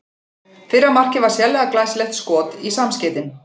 Fyrra markið var sérlega glæsilegt skot í samskeytin.